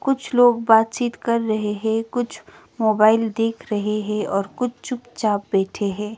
कुछ लोग बातचीत कर रहे हैं कुछ मोबाइल देख रहे है और कुछ चुपचाप बैठे है।